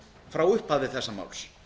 frá upphafi þessa máls